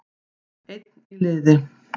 Einn í liði